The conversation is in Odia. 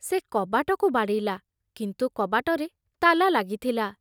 ସେ କବାଟକୁ ବାଡ଼େଇଲା, କିନ୍ତୁ କବାଟରେ ତାଲା ଲାଗିଥିଲା।